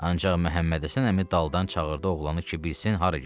Ancaq Məhəmmədhəsən əmi daldan çağırdı oğlanı ki, bilsin hara gedir.